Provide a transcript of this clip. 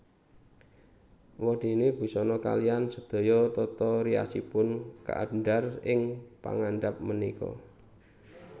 Wondéné busana kaliyan sedaya tata riasipun kaandhar ing ngandhap punika